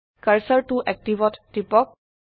কাৰ্চৰ ত এক্টিভ ত টিপক